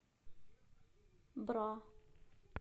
бра